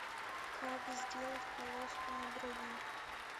как сделать полоску на брови